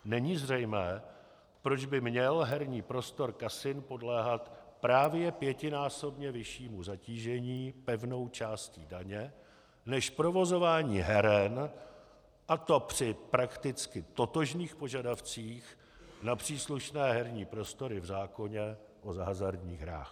Není zřejmé, proč by měl herní prostor kasin podléhat právě pětinásobně vyššímu zatížení pevnou částí daně než provozování heren, a to při prakticky totožných požadavcích na příslušné herní prostory v zákoně o hazardních hrách.